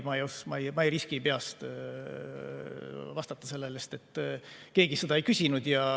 Ma ei riski sellele peast vastata, sest keegi seda ei küsinud.